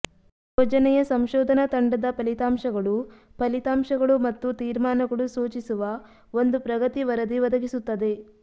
ಯೋಜನೆಯ ಸಂಶೋಧನಾ ತಂಡದ ಫಲಿತಾಂಶಗಳು ಫಲಿತಾಂಶಗಳು ಮತ್ತು ತೀರ್ಮಾನಗಳು ಸೂಚಿಸುವ ಒಂದು ಪ್ರಗತಿ ವರದಿ ಒದಗಿಸುತ್ತದೆ